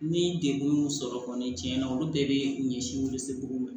Ni degun y'u sɔrɔ kɔni tiɲɛna olu bɛɛ bɛ ɲɛsin welesebugu ma